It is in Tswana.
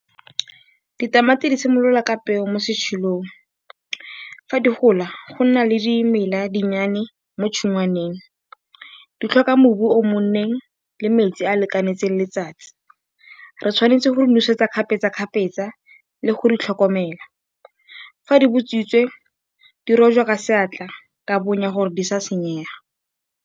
Ditamati di simolola ka peo mo . Fa di gola go nna le dimela dinnyane mo tshingwaneng. Di tlhoka mmu o o nonneng le metsi a a lekaneng le letsatsi. Re tshwanetse go di nosetsa kgapetsakgapetsa le go di tlhokomela. Fa di botswitse di rojwa ka seatla, ka bonya gore di se ka tsa senyega.